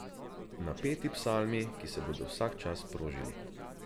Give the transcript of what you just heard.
Napeti psalmi, ki se bodo vsak čas sprožili.